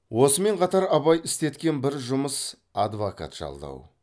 осымен қатар абай істеткен бір жұмыс адвокат жалдау